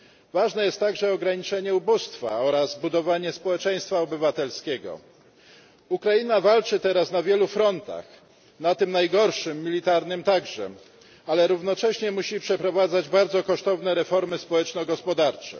Ważne jest także ograniczenie ubóstwa oraz budowanie społeczeństwa obywatelskiego. Ukraina walczy teraz na wielu frontach, na tym najgorszym, militarnym, także, ale równocześnie musi przeprowadzać bardzo kosztowne reformy społeczno gospodarcze.